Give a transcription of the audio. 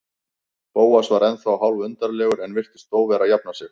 Bóas var ennþá hálfólundarlegur en virtist þó vera að jafna sig.